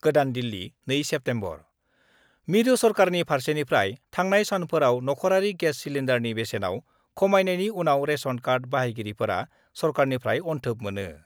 गोदान दिल्ली, 2 सेप्तेम्बर : मिरु सरकारनि फारसेनिफ्राय थांनाय सानफोराव नख'रारि गेस सिलेन्डारनि खमायनायनि उनाव रेशन कार्ड बाहायगिरिफोरा सरकारनिफ्राय अन्थोब मोनो।